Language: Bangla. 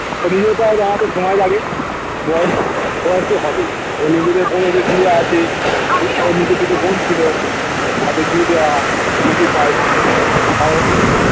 নিজের পায়ে দাঁড়াতে সময় লাগে বয়েস বয়েস তো হবেই কি আছে ওর নিজে থেকে বোন ছিল নিজের পায়ে দাঁড়ানো তাও